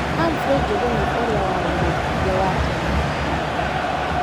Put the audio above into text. Humphrey Njũguna ũrĩa warĩ mũbunge wa tene wa Gatanga.